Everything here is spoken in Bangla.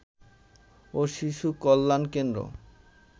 ও শিশু কল্যান কেন্দ্র